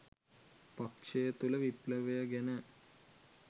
පක්ෂය තුළ විප්ලවය ගැන